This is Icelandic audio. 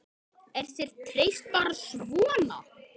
Er þér treyst bara svona?